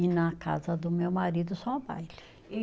E na casa do meu marido só o baile.